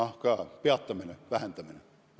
Aitäh!